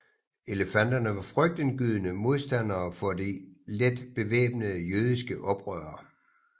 Elefanterne var frygtindgydende modstandere for de let bevæbnede jødiske oprørere